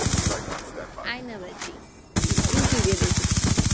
যায়না বাজি youtube এ দেখেছি